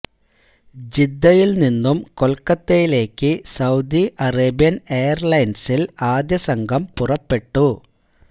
ജിദ്ദയില് നിന്നും കൊല്ക്കത്തയിലേക്ക് Saudi Arabian എയര്ലൈന്സില് ആദ്യ സംഘം പുറപ്പെട്ടു